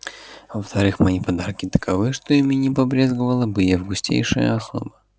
во-вторых мои подарки таковы что ими не побрезговала бы и августейшая особа